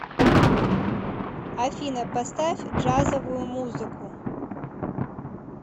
афина поставь джазовую музыку